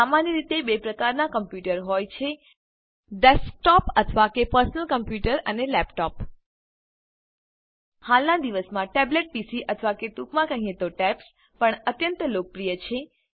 સામાન્ય રીતે 2 પ્રકારનાં કમ્પ્યૂટરો હોય છે ડેસ્કટૉપ અથવા કે પર્સનલ કોમ્પ્યુટર અને લેપટોપ હાલનાં દિવસોમાં ટેબ્લેટ પીસી અથવા ટૂંકમાં કહીએ તો ટૅબ્સ પણ અત્યંત લોકપ્રિય છે